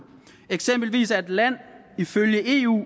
eksempelvis er et land ifølge eu